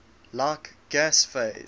like gas phase